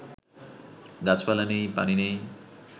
গাছপালা নেই, পানি নেই